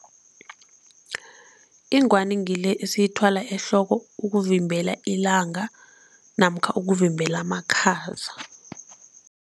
Ingwani ngile esiyithwala ehloko ukuvimbela ilanga namkha ukuvimbela amakhaza.